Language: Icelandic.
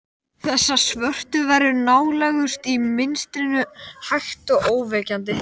Þessar svörtu verur nálguðust í mistrinu, hægt og ógnvekjandi.